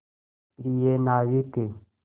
प्रिय नाविक